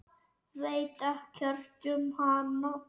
Veit ekkert um hana.